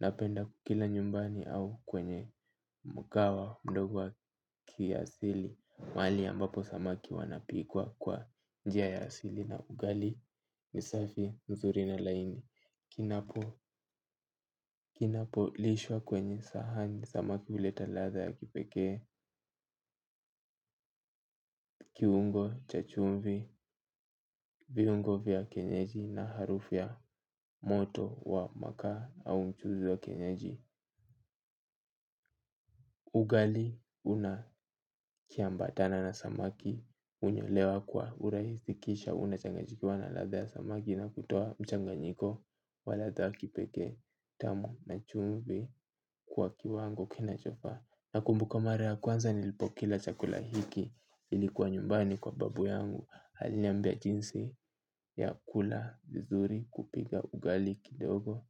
napenda kukila nyumbani au kwenye mkawa, mdogo wa kiasili, maali ambapo samaki wanapikwa kwa njia ya asili na ugali, nisafi, nzuri na laini. Kinapo, kinapo lishwa kwenye sahani samaki uleta latha ya kipekee kiungo, chachumvi, viungo vya kenyeji na harufu ya moto wa makaa au mchuzi wa kenyeji. Ugali, unakiambatana na samaki, unyolewa kwa urahisi kisha, unachangajikiwa na latha ya samaki na kutoa mchanganyiko wa latha ya kipeke, tamu na chumvi kwa kiwango kinachofaa nakumbuka mara ya kwanza. Chakula hiki ilikuwa nyumbani kwa babu yangu aliniambia jinsi ya kula vizuri kupiga ugali kidogo.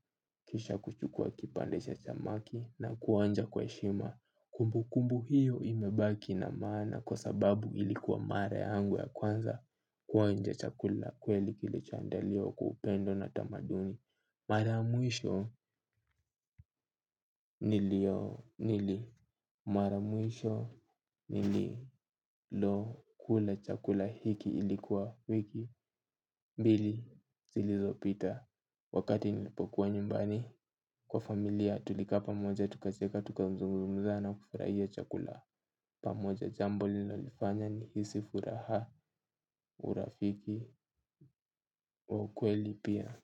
Kisha kuchukua kipandesha chamaki na kuonja kwa heshima. Kumbu kumbu hiyo imebaki na maana. Kwa sababu ilikuwa mara yangu ya kwanza kuonja chakula kweli kilicho andaliwa kwa kupendo na tamaduni. Mara ya mwisho nilio nili maramwisho nililo kula chakula hiki ilikuwa wiki mbili zilizo pita. Wakati nilipokuwa nyumbani kwa familia tulika pamoja tukacheka tukazungumza na kufurahia chakula. Pamoja jambo lililonifanya nihisi furaha urafiki wakweli pia.